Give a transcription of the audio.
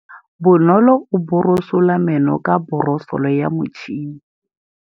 Bonolô o borosola meno ka borosolo ya motšhine.